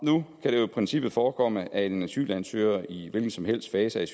nu kan det jo i princippet forekomme at en asylansøger i en hvilken som helst fase